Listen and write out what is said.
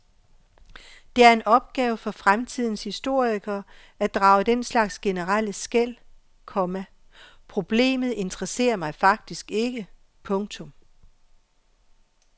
Det en opgave for fremtidens historikere at drage den slags generelle skel, komma problemet interesserer mig faktisk ikke. punktum